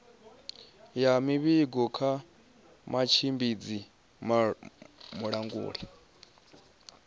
ya muvhigo kha mutshimbidzi mulanguli